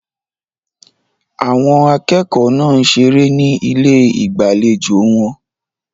Àwọn akẹ́kọ̀ọ́ náà ń ṣeré ní ilé ìgbàlejò wọn.